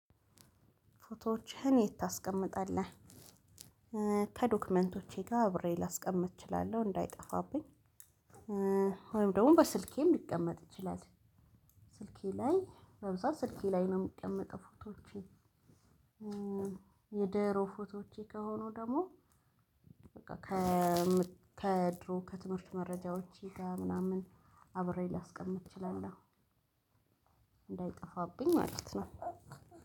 ፎቶዎችህን የት ታስቀምጣለህ? ከዶክመንቶቼ ጋር አብሬ ላስቀምጥ እችላለሁ እንዳይጠፋብኝ ወይም ደግሞ በስልኬም ሊቀመጥ ይችላል። ስልኬ ላይ በብዛት ስልኬ ላይ ነው የሚቀመጠው ፎቶዎቼ። የድሮ ፎቶዎቼ ከሆኑ ደግሞ በቃ ከድሮ ከትምህርት መረጃዎቼ ጋር ምናምን አብሬ ላስቀምጥ እችላለሁ። እንዳይጠፋብኝ ማለት ነው።